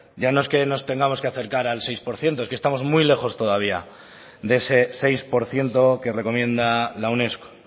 ya no es que nos tengamos que acercar al seis por ciento es que estamos muy lejos todavía de ese seis por ciento que recomienda la unesco